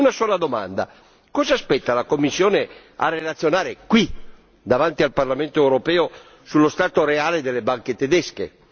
Una sola domanda cosa aspetta la Commissione a riferire qui, davanti al Parlamento europeo, sullo stato reale delle banche tedesche?